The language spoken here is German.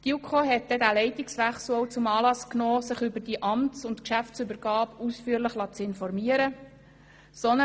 Die JuKo nahm den Leitungswechsel zum Anlass, sich über die Amts- und Geschäftsübergabe ausführlich informieren zu lassen.